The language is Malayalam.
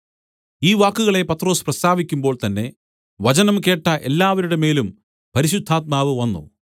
ഈ വാക്കുകളെ പത്രൊസ് പ്രസ്താവിക്കുമ്പോൾ തന്നേ വചനം കേട്ട എല്ലാവരുടെ മേലും പരിശുദ്ധാത്മാവ് വന്നു